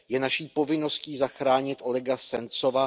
Je naší povinností zachránit Olega Sencova.